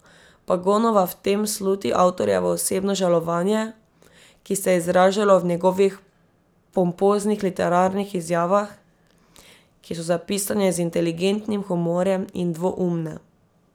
Pagonova v tem sluti avtorjevo osebno žalovanje, ki se je izražalo v njegovih pompoznih literarnih izjavah, ki so zapisane z inteligentnim humorjem in dvoumne.